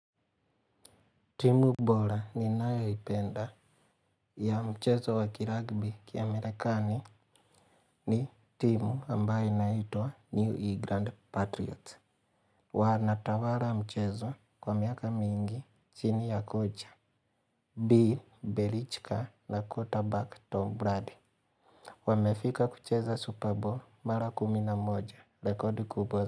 Timu bola ninayo ipenda ya mchezo wa kiragbi kiamerekani ni timu ambaye naitwa New England Patriots. Wanatawala mchezo kwa miaka mingi chini ya kocha. B. Belichka na quarterback Tom Brady. Wamefika kucheza Super Bowl mara kumi na moja. Rekodi kubwa.